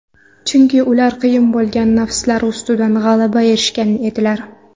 Chunki ular qiyin bo‘lgan nafslari ustidan g‘alabaga erishgan edilar.